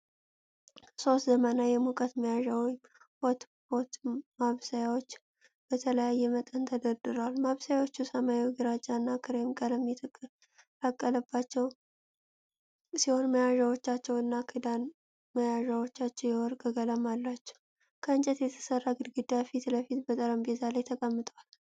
ሶስት ዘመናዊ የሙቀት መያዣ (ሆትፖት) ማብሰያዎች በተለያየ መጠን ተደርድረዋል። ማብሰያዎቹ ሰማያዊ ግራጫ እና ክሬም ቀለም የተቀላቀለባቸው ሲሆን፣ መያዣዎቻቸው እና ክዳን መያዣዎቻቸው የወርቅ ቀለም አላቸው። ከእንጨት በተሰራ ግድግዳ ፊት ለፊት በጠረጴዛ ላይ ተቀምጠዋል።